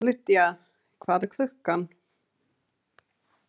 Lydia, hvað er klukkan?